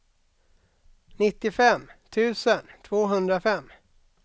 nittiofem tusen tvåhundrafem